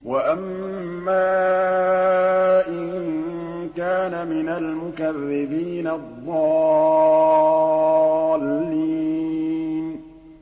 وَأَمَّا إِن كَانَ مِنَ الْمُكَذِّبِينَ الضَّالِّينَ